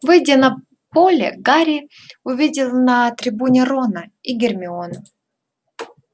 выйдя на поле гарри увидел на трибуне рона и гермиону